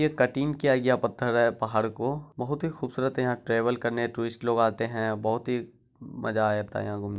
ये कटिंग किया गया पत्थर है पहाड़ को बहोत ही खूबसूरत है यहाँ ट्रैवल करने टूरिस्ट लोग आते हैं बहोत ही मजा आ जाता है यहाँ घूम --